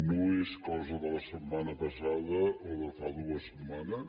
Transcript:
no és una cosa de la setmana passada o de fa dues setmanes